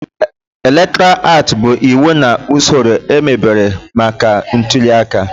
Elektọra aatị bụ iwu na usoro emebere maka ntuliaka.